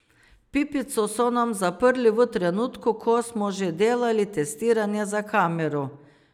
Pipico so nam zaprli v trenutku, ko smo že delali testiranja za kamero.